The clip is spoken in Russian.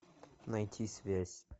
найти связь